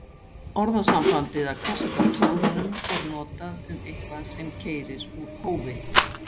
Orðasambandið að kasta tólfunum er notað um eitthvað sem keyrir úr hófi.